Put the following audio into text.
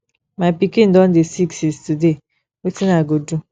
my pikin don dey sick since today wetin i go do